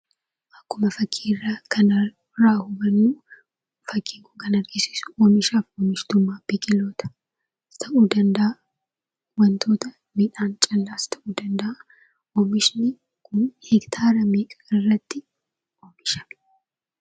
Akkuma fakkii irraa kanarraa hubannuu fakkiin kan argisiisu oomishaaf oomishtummaa biqiloota ta'uu danda'a, wantoota midhaan callaas ta'uu danda'a. Oomishni kun hektaara meeqarratti oomishame?